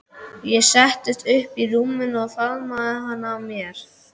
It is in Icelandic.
Ég settist upp í rúminu og faðmaði hana að mér.